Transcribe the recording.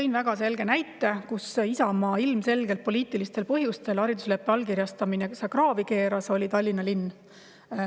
Tõin väga selge näite, kus Isamaa ilmselgelt poliitilistel põhjustel haridusleppe allkirjastamise kraavi keeras, oli Tallinna linn.